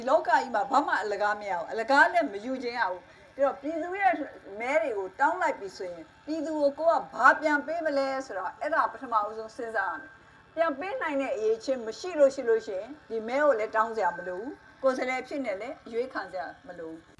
လောကကြီးမှာ ဘာမှအလကားမရဘူး၊ အလကားလည်း မယူချင်ရဘူး၊ ပြည်သူရဲ့မဲတွေ ကို တောင်း လိုက်ပြီဆိုရင် ပြည်သူကိုကိုယ်က ဘာပြန်ပေးမလဲ ဆိုတာ အဲဒါပထမဦးဆုံးစဉ်းစား ရမယ်၊ ပြန်ပေးနိုင်တဲ့ အရည်အချင်းမရှိလို့ရှိရင် ဒီမဲကိုလည်း တောင်းစရာ မလိုဘူး၊ ကိုယ်စား လှယ်အဖြစ်နဲ့လည်း ရွေးခံစရာမလိုဘ